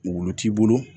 Wulu t'i bolo